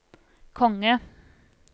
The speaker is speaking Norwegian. konge